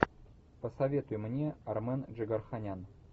посоветуй мне армен джигарханян